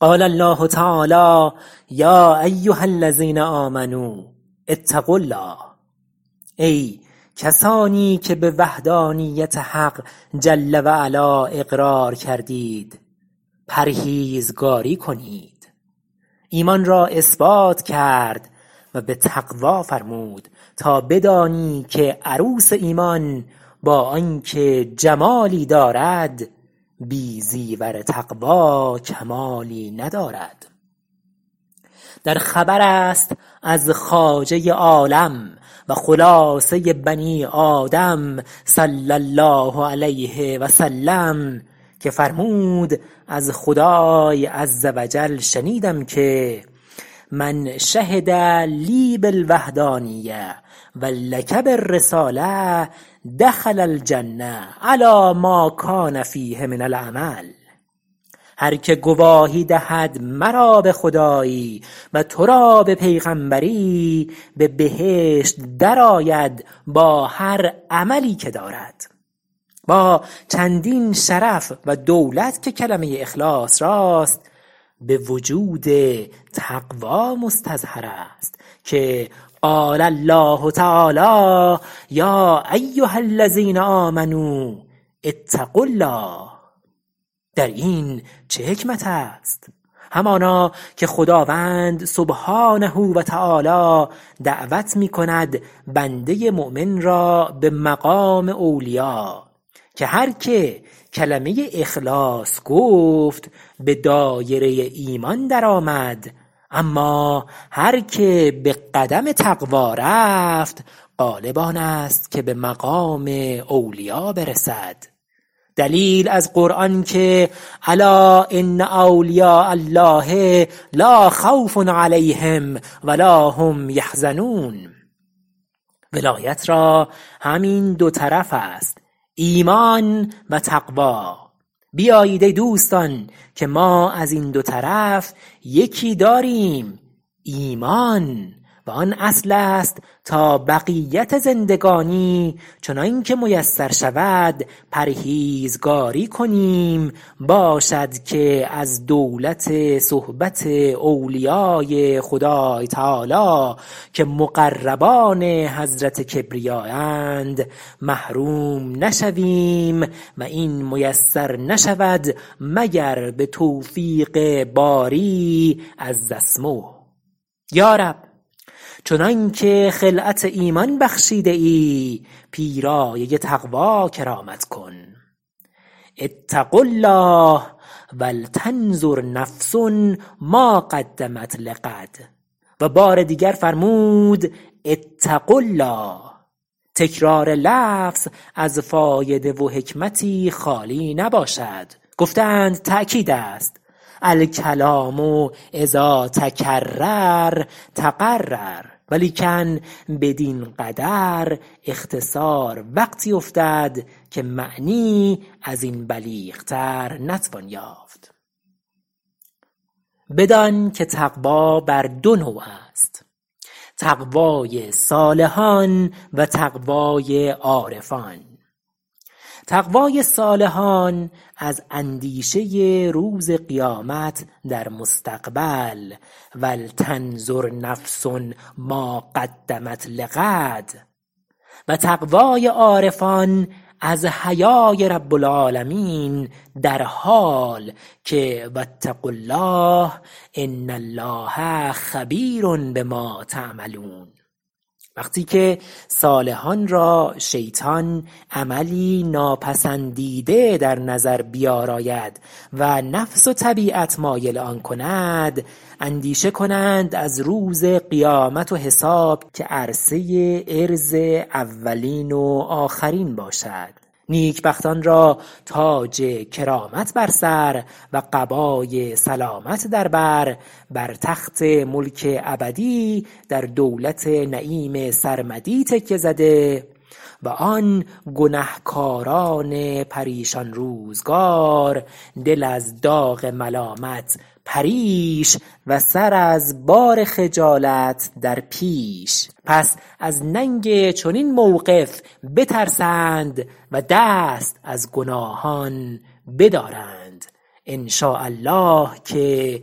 قال الله تعالی یا ایها الذین آمنوا اتقوا الله ای کسانی که به وحدانیت حق جل و علا اقرار کردید پرهیزگاری کنید ایمان را اثبات کرد و به تقوا فرمود تا بدانی که عروس ایمان با آنکه جمالی دارد بی زیور تقوا کمالی ندارد در خبر است از خواجۀ عالم و خلاصۀ بنی آدم صلی الله علیه وسلم که فرمود از خدای عز و جل شنیدم که من شهدلی بالوحدانیة و لک بالرسالة دخل الجنة علی ما کان فیه من العمل هرکه گواهی دهد مرا به خدایی و تو را به پیغمبری به بهشت درآید با هر عملی که دارد با چندین شرف و دولت که کلمۀ اخلاص راست به وجود تقوا مستظهر است که یا ایها الذین آمو اتقوا الله در این چه حکمت است همانا که خداوند سبحانه و تعالی دعوت می کند بندۀ مؤمن را به مقام اولیا که هر که کلمۀ اخلاص گفت به دایره ایمان درآمد اما هر که به قدم تقوا رفت غالب آن است که به مقام اولیا برسد دلیل از قرآن که الا أن أولیاء الله لاخوف علیهم ولاهم یحزنون ولایت را همین دو طرف است ایمان و تقوا بیایید ای دوستان که ما از این دو طرف یکی داریم ایمان و آن اصل است تا بقیت زندگانی چنان که میسر شود پرهیزگاری کنیم باشد که از دولت صحبت اولیای خدای تعالی که مقربان حضرت کبریایند محروم نشویم و این میسر نشود مگر به توفیق باری عز اسمه یا رب چنان که خلعت ایمان بخشیده ای پیرایۀ تقوا کرامت کن اتقوا الله ولتنظر نفس ما قدمت لغد و بار دیگر فرمود اتقوا الله تکرار لفظ از فایده و حکمتی خالی نباشد گفته اند تأکید است الکلام إذا تکرر تقرر ولیکن بدین قدر اختصار وقتی افتد که معنی از این بلیغ تر نتوان یافت بدان که تقوا بر دو نوع است تقوای صالحان و تقوای عارفان تقوای صالحان از اندیشه روز قیامت در مستقبل ولتنظر نفس ما قدمت لغ و تقوای عارفان از حیای رب العالمین در حال که و اتقوا الله ان الله خبیر بما تعملون وقتی که صالحان را شیطان عملی ناپسندیده در نظر بیاراید و نفس و طبیعت مایل آن کند اندیشه کنند از روز قیامت و حساب که عرصه عرض اولین و آخرین باشد نیکبختان را تاج کرامت بر سر و قبای سلامت در بر بر تخت ملک ابدی در دولت نعیم سرمدی تکیه زده و آن گنهکاران پریشان روزگار دل از داغ ملامت پریش و سر از بار خجالت در پیش پس از ننگ چنین موقف بترسند و دست از گناهان بدارند ان شاء الله که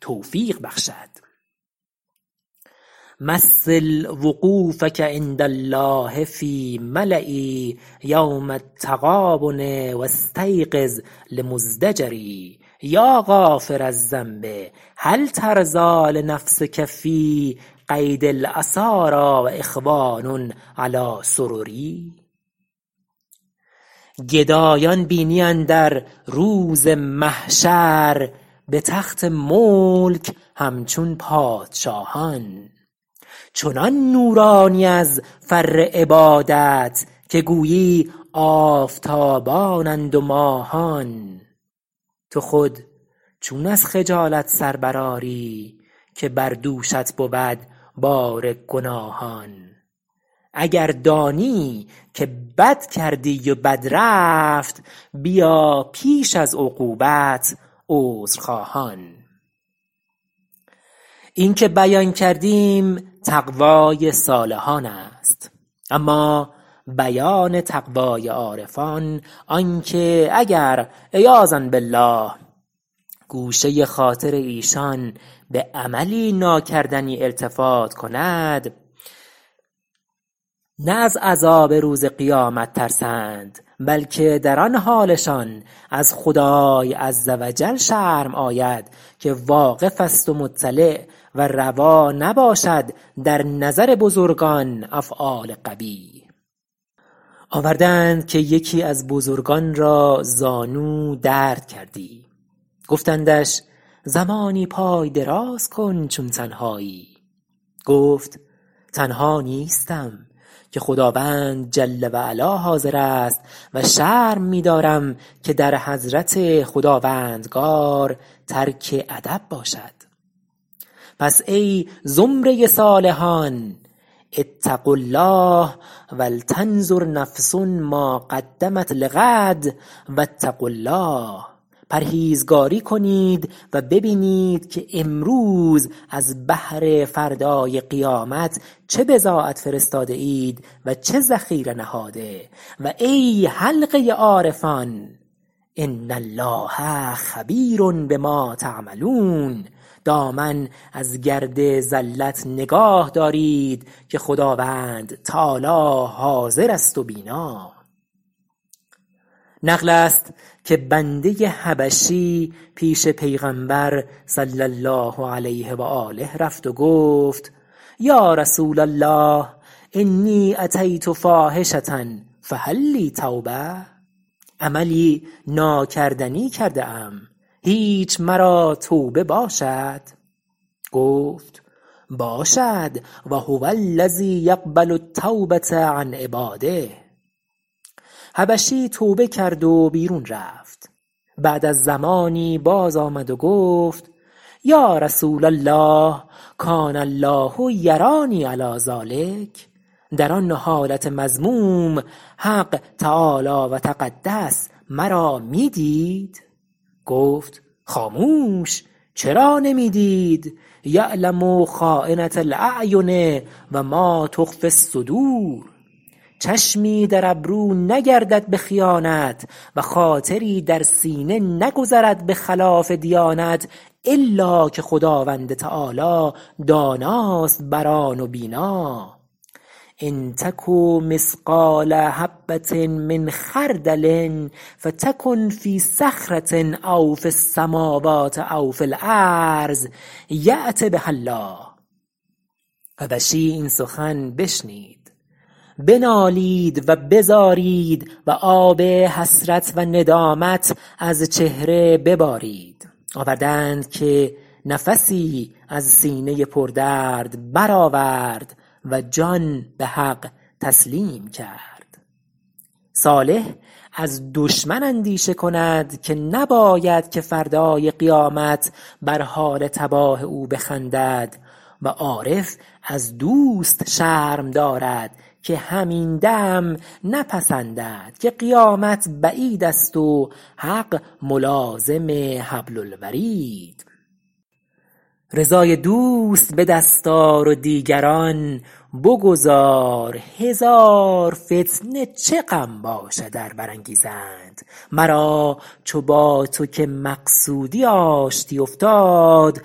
توفیق بخشد مثل وقوفک عند الله فی ملاء یوم التغابن و استیقظ المزدجر یا غافر الذنب هل ترضی لنفسک فی قید الاساری و اخوان علی سرر گدایان بینی اندر روز محشر به تخت ملک همچون پادشاهان چنان نورانی از فر عبادت که گویی آفتابانند و ماهان تو خود چون از خجالت سر برآری که بر دوشت بود بار گناهان اگر دانی که بد کردی و بد رفت بیا پیش از عقوبت عذرخواهان این بیان که کردیم تقوای صالحان است اما بیان تقوای عارفان آن که اگر عیاذا بالله گوشه خاطر ایشان به عملی ناکردنی التفات کند نه از عذاب روز قیامت ترسند بلکه در آن حالشان از خدای عز و جل شرم آید که واقف است و مطلع و روا نباشد در نظر بزرگان افعال قبیح آورده اند که یکی از بزرگان را زانو درد کردی گفتندش زمانی پای دراز کن چون تنهایی گفت تنها نیستم که خداوند جل و علا حاضر است و شرم می دارم که در حضرت خداوندگار ترک ادب باشد پس ای زمرۀ صالحان اتقوا الله ولتنظر نفس ما قدمت لغد و اتقوا الله پرهیزگاری کنید و ببینید که امروز از بهر فردای قیامت چه بضاعت فرستاده اید و چه ذخیره نهاده و ای حلقۀ عارفان ان الله خبیر بما تعملون دامن از گرد زلت نگاه دارید که خداوند تعالی حاضر است و بینا نقل است که بندۀ حبشی پیش پیغمبر صلی الله علیه و آله رفت و گفت یا رسول الله انی اتی فاحشة فهل لی توبة عملی ناکردنی کرده ام هیچ مرا توبه باشد گفت باشد و هو الذی یقبل التوبة عن عباده حبشی توبه کرد و بیرون رفت بعد از زمانی باز آمد و گفت یا رسول الله کان الله یرانی علی ذلک در آن حالت مذموم حق تعالی و تقدس مرا میدید گفت خاموش چرا نمی دید یعلم خاینة الأعین و ما تخفی الصدور چشمی در ابرو نگردد به خیانت و خاطری در سینه نگذرد به خلاف دیانت الاکه خداوند تعالی داناست بر آن و بینا ان تک مثقال حبة من خردل فتکن فی صخرة او فی السموات أو فی الأرض یات بها الله حبشی این سخن بشنید بنالید و بزارید و آب حسرت و ندامت از چهره ببارید آورده اند که نفسی از سینه پردرد برآورد و جان به حق تسلیم کرد صالح از دشمن اندیشه کند که نباید که فردای قیامت بر حال تباه او بخندد و عارف از دوست شرم دارد که همین دم نپسندد که قیامت بعید است و حق ملازم حبل الورید رضای دوست به دست آر و دیگران بگذار هزار فتنه چه غم باشد ار برانگیزند مرا چو با تو که مقصودی آشتی افتاد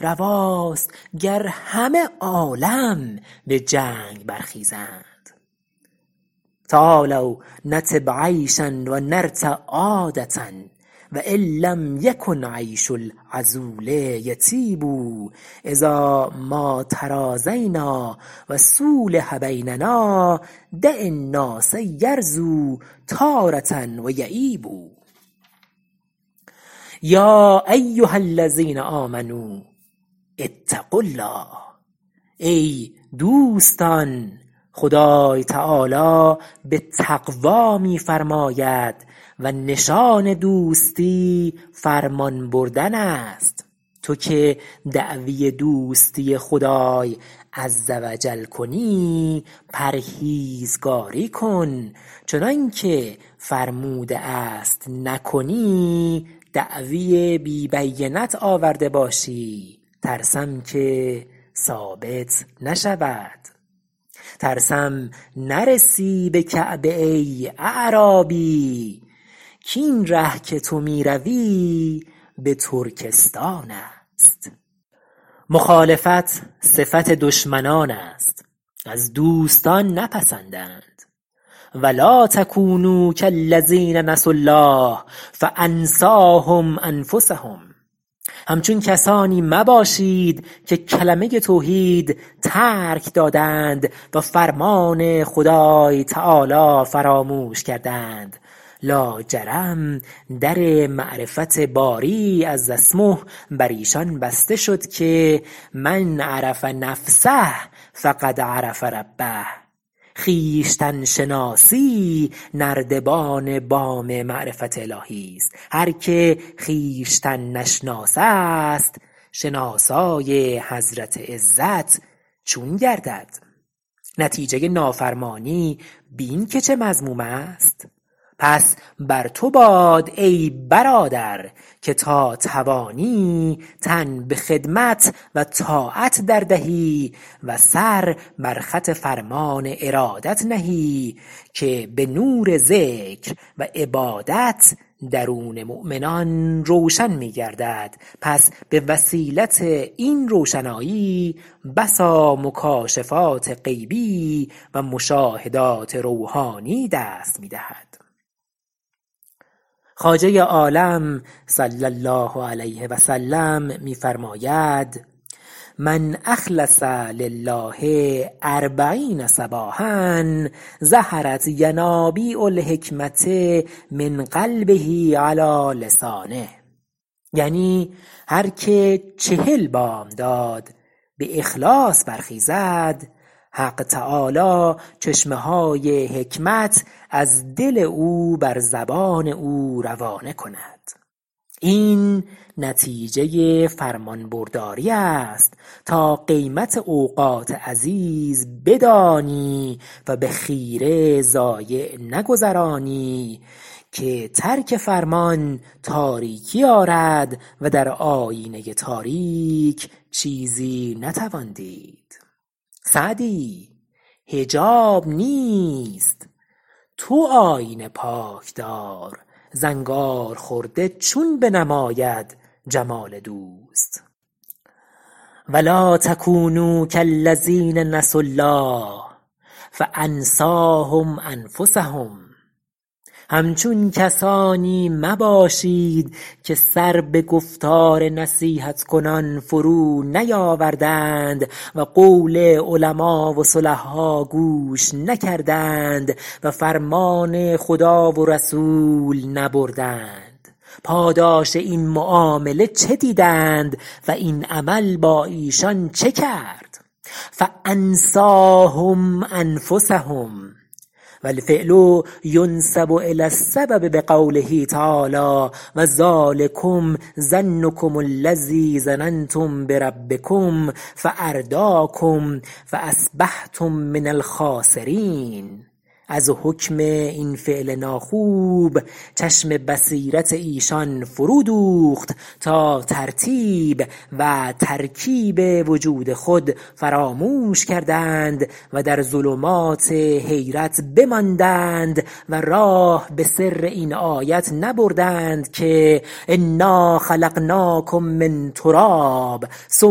رواست گر همه عالم به جنگ برخیزند تعالوا نطب عیشا و نرتع عادة و ان لم یکن عیش العذول یطیب اذا ما تراضینا و صولح بیننا دع الناس یرضوا تارة و یعیب یا ایها الذین آمنوا اتقوا الله ای دوستان خدای تعالی به تقوا می فرماید و نشان دوستی فرمان بردن است تو که دعوی دوستی خدای عز و جل کنی پرهیزگاری کن چنان که فرموده است نکنی دعوی بی بینت آورده باشی ترسم که ثابت نشود ترسم نرسی به کعبه ای اعرابی کاین ره که تو می روی به ترکستان است مخالفت صفت دشمنان است از دوستان نپسندند و لاتکونوا کالذین نسوا الله فانسیهم انفسهم همچون کسانی مباشید که کلمۀ توحید ترک دادند و فرمان خدای تعالی فراموش کردند لاجرم در معرفت باری عز اسمه بر ایشان بسته شد که من عرف نفسه فقد عرف ربه خویشتن شناسی نردبان بام معرفت الهی ست هر که خویشتن نشناس است شناسای حضرت عزت چون گردد نتیجه نافرمانی بین که چه مذموم است پس بر تو باد ای برادر که تا توانی تن به خدمت و طاعت دردهی و سر بر خط فرمان ارادت نهی که به نور ذکر و عبادت درون مؤمنان روشن می گردد پس به وسیلت این روشنایی بسا مکاشفات غیبی و مشاهدات روحانی دست می دهد خواجۀ عالم صلی الله علیه وسلم می فرماید من أخلص لله اربعین صباحا ظهرت ینابیع الحکمة من قلبه علی لسانه یعنی هر که چهل بامداد به اخلاص برخیزد حق تعالی چشمه های حکمت از دل او بر زبان او روانه کند این نتیجه فرمانبرداری ست تا قیمت اوقات عزیز بدانی و به خیره ضایع نگذرانی که ترک فرمان تاریکی آرد و در آیینۀ تاریک چیزی نتوان دید سعدی حجاب نیست تو آیینه پاک دار زنگارخورده چون بنماید جمال دوست ولا تکونوا کالذین نسوا الله فانسیهم انفسهم همچون کسانی مباشید که سر به گفتار نصیحت کنان فرو نیاوردند و قول علما و صلحا گوش نکردند و فرمان خدا و رسول نبردند پاداش این معامله چه دیدند و این عمل با ایشان چه کرد فانسیهم انفسهم والفعل ینسب الی السبب بقوله تعالی و ذلکم ظنکم الذی ظننتم بربکم فاردیکم فاصبحتم من الخاسرین از حکم این فعل ناخوب چشم بصیرت ایشان فرو دوخت تا ترتیب و ترکیب وجود خود فراموش کردند و در ظلمات حیرت بماندند و راه به سر این آیت نبردند که انا خلقناکم من تراب ثم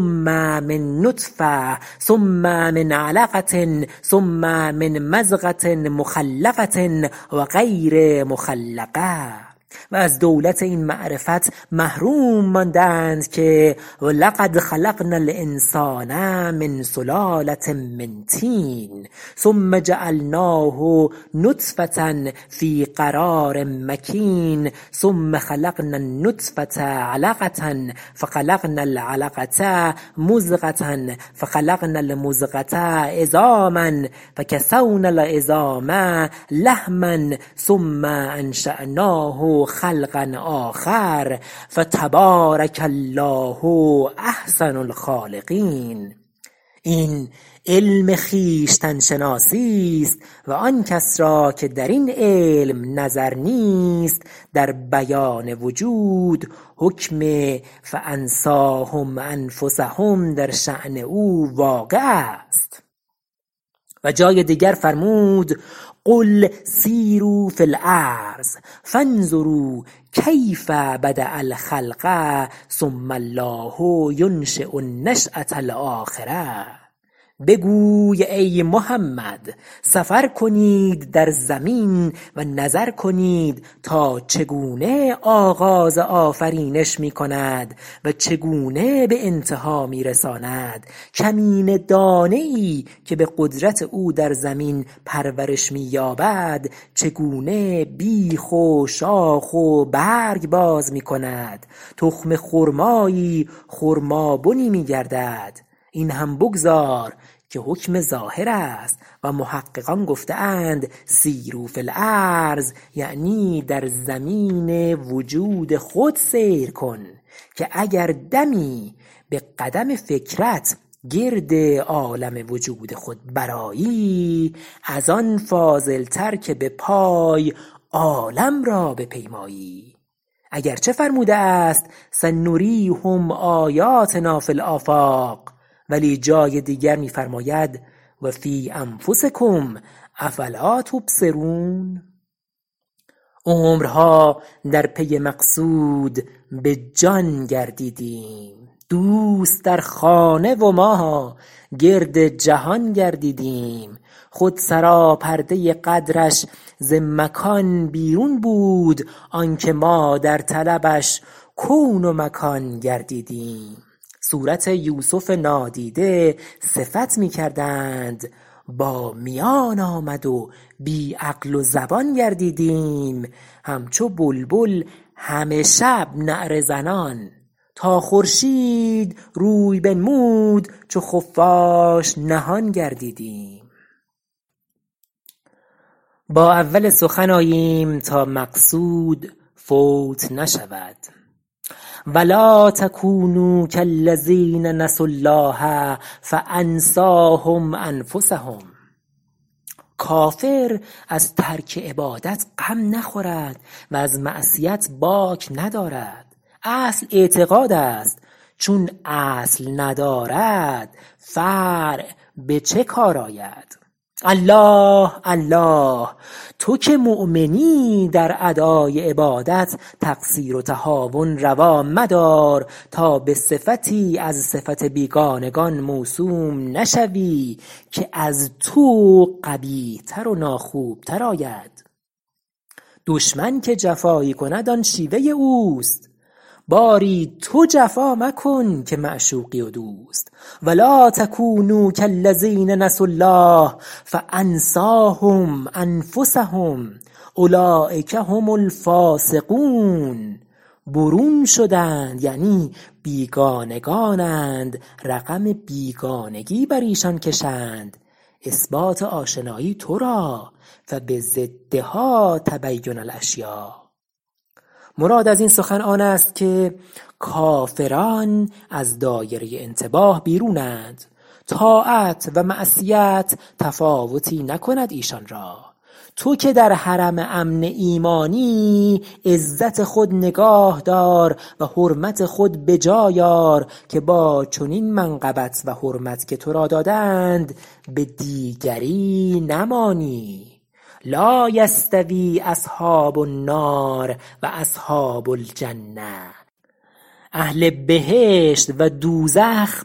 من نطفة ثم من علقة ثم من مضغة مخلقة و غیر مخلقة و از دولت این معرفت محروم ماندند که و لقد خلقنا الانسان من سلالة من طین ثم جعلناه نطفة فی قرار مکین ثم خلقنا النطفة علقة فخلقنا العلقة مضغة فخلقنا المضغة عظاما فکسونا العظام لحما ثم انشاناه خلقا آخر فتبارک الله احسن الخالقین این علم خویشتن شناسی است و آن کس را که در این علم نظر نیست در بیان وجود حکم فانسیهم انفسهم در شأن او واقع است و جای دیگر فرمود قل سیروا فی الارض فانظروا کیف بدء الخلق ثم الله ینشی النشأة الأخرة بگوی ای محمد سفر کنید در زمین و نظر کنید تا چگونه آغاز آفرینش میکند و چگونه به انتها می رساند کمینه دانه ای که در زمین به قدرت او پرورش می یابد چگونه بیخ و شاخ و برگ باز می کند تخم خرمایی خرمابنی می گردد این هم بگذار که حکم ظاهر است و محققان گفته اند سیروا فی ألأرض یعنی در زمین وجود خود سیر کن که اگر دمی به قدم فکرت گرد عالم وجود خود برآیی از آن فاضل تر که به پای عالم را بپیمایی اگرچه فرموده است سنریهم آیاتنا فی الآفاق ولی جای دیگر می فرماید و فی انفسکم افلا تبصرون عمرها در پی مقصود به جان گردیدیم دوست در خانه و ما گرد جهان گردیدیم خود سراپردۀ قدرش ز مکان بیرون بود آن که ما در طلبش کون و مکان گردیدیم صورت یوسف نادیده صفت می کردند با میان آمد و بی عقل و زبان گردیدیم همچو بلبل همه شب نعره زنان تا خورشید روی بنمود چو خفاش نهان گردیدیم با اول سخن آییم تا مقصود فوت نشود ولا تکونوا کالذین نسوا الله فانسیهم انفسهم کافر از ترک عبادت غم نخورد و از معصیت باک ندارد اصل اعتقاد است چون اصل ندارد فرع به چه کار آید الله الله تو که مؤمنی در ادای عبادت تقصیر و تهاون روا مدار تا به صفتی از صفت بیگانگان موسوم نشوی که از تو قبیح تر و ناخوب تر آید دشمن که جفایی کند آن شیوۀ اوست باری تو جفا مکن که معشوقی و دوست ولا تکونوا کالذین نسوا الله فانسیهم أنفسهم اولیک هم الفاسقون برون شدند یعنی بیگانگانند رقم بیگانگی بر ایشان کشند اثبات آشنایی تو را قبضدها تتبین الأشیاء مراد از این سخن آن است که کافران از دایرۀ انتباه بیرونند طاعت و معصیت تفاوتی نکند ایشان را تو که در حرم امن امانی عزت خود نگاه دار و حرمت خود به جای آر که با چنین منقبت و حرمت که تو را دادند به دیگری نمانی لا یستوی أصحاب النار و أصحاب الجنة اهل بهشت و دوزخ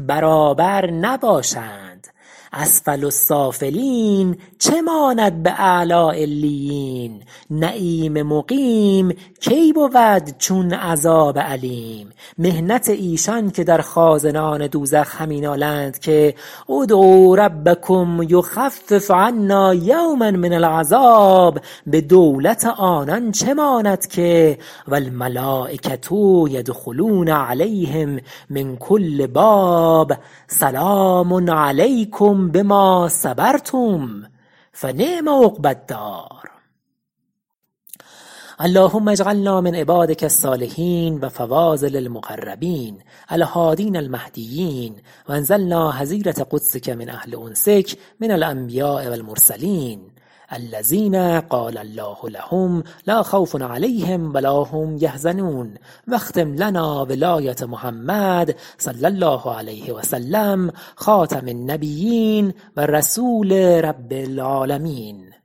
برابر نباشند اسفل السافلین چه ماند به اعلی علیین نعیم مقیم کی بود چون عذاب الیم محنت ایشان که در خازنان دوزخ همینالند که ادعوا ربکم یخفف عنا یوما من العذاب به دولت آنان چه ماند که والملایکة یدخلون علیهم من کل باب سلام علیکم بما صبرتم فنعم عقبی الدار اللهم اجعلنا من عبادک الصالحین و فواضل المقربین الهادین المهدیین و انزلنا حظیرة قدسک من اهل انسک من الأنبیاء و المرسلین الذین قال الله لهم لاخوف علیهم و لا هم یحزنون و اختم لنا ولایة محمد صلی الله علیه وسلم خاتم النبیین و رسول رب العالمین